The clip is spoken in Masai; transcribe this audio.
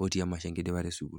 otii emasho enkidipata e sukuul.